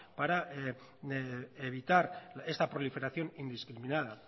para evitar esta proliferación indiscriminada